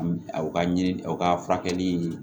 U ka ɲini o ka furakɛli ɲini